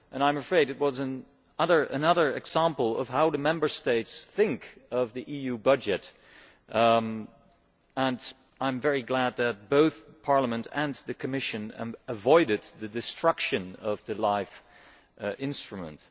I am afraid it was another example of how the Member States think of the EU budget and am very glad that both Parliament and the Commission avoided the destruction of the LIFE instrument.